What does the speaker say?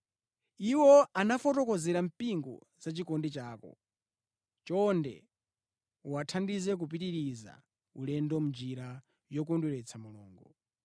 Iwo anafotokozera mpingo za chikondi chako. Chonde uwathandize kupitiriza ulendo mʼnjira yokondweretsa Mulungu.